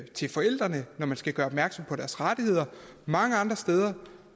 til forældrene når man skal gøre opmærksom på deres rettigheder mange andre steder